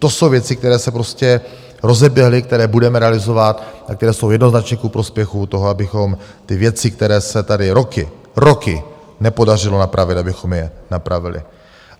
To jsou věci, které se prostě rozeběhly, které budeme realizovat a které jsou jednoznačně ku prospěchu toho, abychom ty věci, které se tady roky, roky nepodařilo napravit, abychom je napravili.